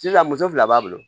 Sisan muso fila b'a bolo